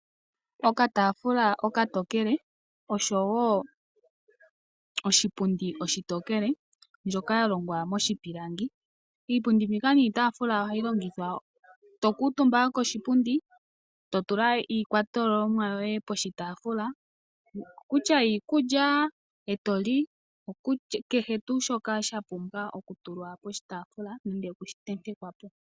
Okataafula okatokele oshowo oshipundi oshitokele mbyoka ya longwa moshipilangi. Iipundi mbika niitaafula ohayi longithwa to kuutumba koshipundi, to tula iikakwatelwa yoye koshitaafula kutya iikulya e to li, kehe tuu shoka sha pumbwa okutulwa poshitaafula nenge oku shi tenteka po.